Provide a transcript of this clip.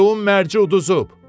Leun mərci uduzub.